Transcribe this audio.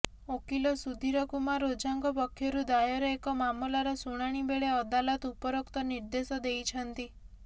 ଓକିଲ ସୁଧୀର କୁମାର ଓଝାଙ୍କ ପକ୍ଷରୁ ଦାୟର ଏକ ମାମଲାର ଶୁଣାଣିବେଳେ ଅଦାଲତ ଉପରୋକ୍ତ ନିର୍ଦେଶ ଦେଇଛନ୍ତି